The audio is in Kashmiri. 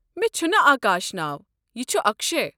مےٚ چھُنہٕ آکاش ناو، یہِ چھُ اكشے۔